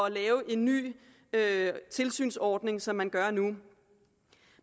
at lave en ny tilsynsordning som man gør nu